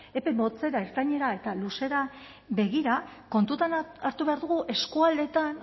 epe motzera ertainera eta luzera begira kontuan hartu behar dugu eskualdeetan